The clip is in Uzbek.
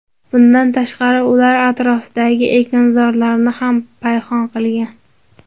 Bundan tashqari, ular atrofdagi ekinzorlarni ham payhon qilgan.